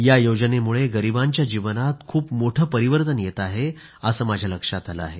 या योजनेमुळे गरीबांच्या जीवनात खूप मोठे परिवर्तन येत आहे असं माझ्या लक्षात आलं आहे